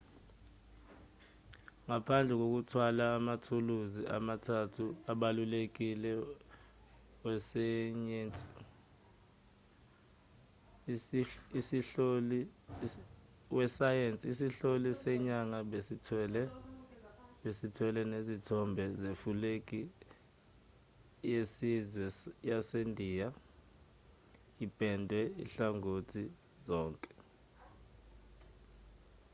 ngaphandle kokuthwala amathuluzi amathathu abalulekile wesayensi isihloli senyanga besithwele nesithombe sefulegi yesizwe yasendiya ipendwe ezinhlangothini zonke